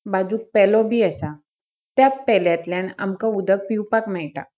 बाजुक पेलो बी आसा. त्या पेल्यातल्यान आमका उदक पिवपाक मेळटा.